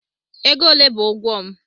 Ego ole bụ ụgwọ m?